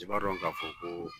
i b'a dɔn k'a fɔ ko